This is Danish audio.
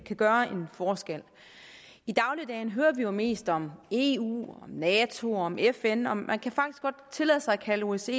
kan gøre en forskel i dagligdagen hører vi jo mest om eu om nato og om fn og man kan faktisk godt tillade sig at kalde osce